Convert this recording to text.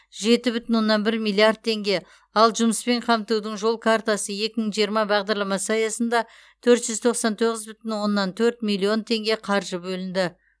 жеті бүтін оннан бір миллиард теңге ал жұмыспен қамтудың жол картасы екі мың жиырма бағдарламасы аясында төрт жүз тоқсан тоғыз бүтін оннан төрт миллион теңге қаржы бөлінді